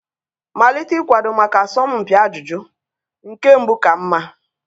Malite ịkwado maka asọmpi ajụjụ, nke mbụ ka mma.